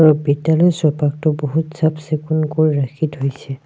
আৰু বিদ্যালয় চৌপাখটো বহুত চাফ-চিকুনকৈ ৰাখি থৈছে।